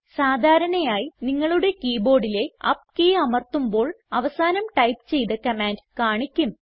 സാധാരണയായി നിങ്ങളുടെ കീബോർഡിലെ അപ്പ് കീ അമർത്തുമ്പോൾ അവസാനം ടൈപ്പ് ചെയ്ത കമാൻഡ് കാണിക്കും